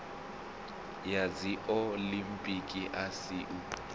ya dziolimpiki a si u